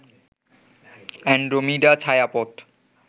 Andromeda ছায়াপথ